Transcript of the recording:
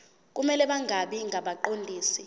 kumele bangabi ngabaqondisi